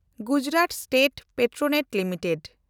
Gujarat state petronet limited